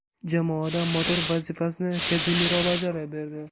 Jamoada motor vazifasini Kazemiro bajarib berdi.